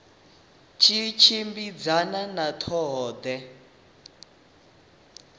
tshi tshimbidzana na ṱho ḓea